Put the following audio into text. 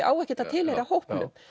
á ekkert að tilheyra hópnum